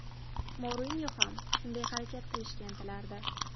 Mourinyo ham shunday harakat qilishga intilardi.